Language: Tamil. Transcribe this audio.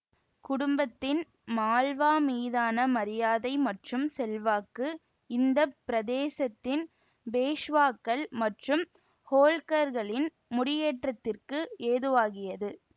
குடும்பத்தின் மால்வா மீதான மரியாதை மற்றும் செல்வாக்கு இந்த பிரதேசத்தின் பேஷ்வாக்கள் மற்றும் ஹோல்கர்களின் முடியேற்றதிற்கு ஏதுவாகியது